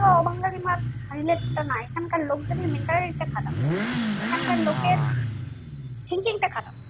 অবাঙালি মার relation টা নয় এখানকার লোকদের mentality টা খারাপ। এখানকার thinking টা খারাপ